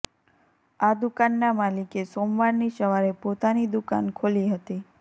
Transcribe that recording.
આ દુકાનના માલિકે સોમવારની સવારે પોતાની દુકાન ખોલી હતી